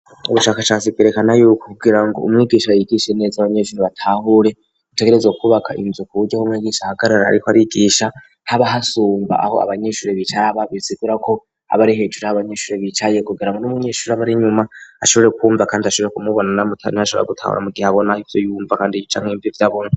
Ubushakashatsi bwerekana yuko kugira ngo umwigisha yigishe neza abanyeshuri batahure, utegerezwa kubaka inzu ku buryo umwigisha aho ahagarara ariko arigisha haba hasumba aho abanyeshuri bicara, bisigura ko aba ari hejuru y'abanyeshuri bicaye kugira ngo n'umunyeshuri aba ari inyuma ashobore kumva kandi ashobore kumubona, aba ashobora gutahura mu gihe abona ivyo yumva kandi yumva ivyo abona.